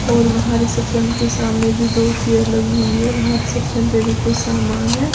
और वहां रिसेप्शन के सामने भी दो चेयर लगी हुई है वहां रिसेप्शन पे भी कुछ सामान है।